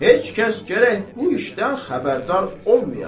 Heç kəs gərək bu işdən xəbərdar olmaya.